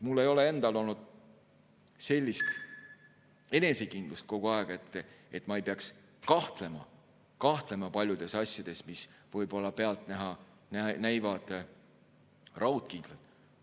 Mul endal ei ole olnud sellist enesekindlust kogu aeg, et ma ei peaks kahtlema paljudes asjades, mis võib-olla pealtnäha näivad raudkindlad.